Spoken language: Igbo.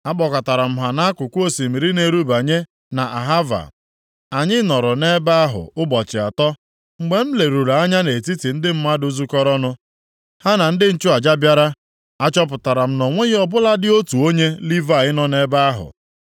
Akpọkọtara m ha nʼakụkụ osimiri na-erubanye nʼAhava, anyị nọrọ nʼebe ahụ ụbọchị atọ. Mgbe m leruru anya nʼetiti ndị mmadụ zukọrọnụ, ha na ndị nchụaja bịara, a chọpụtara m na o nweghị ọ bụladị otu onye Livayị nọ nʼebe ahụ.